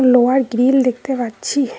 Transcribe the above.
লোহার গ্রিল দেখতে পাচ্ছি।